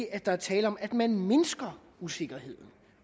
at der er tale om at man mindsker usikkerheden